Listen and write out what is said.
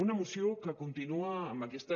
una moció que continua amb aquesta